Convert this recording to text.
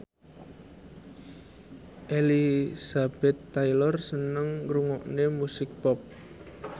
Elizabeth Taylor seneng ngrungokne musik pop